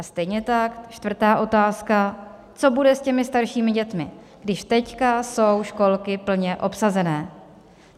A stejně tak čtvrtá otázka: Co bude s těmi staršími dětmi, když teď jsou školky plně obsazené?